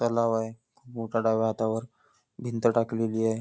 तलाव आहे खूप मोठं डाव्या हातावर भिंत टाकलेली आहे.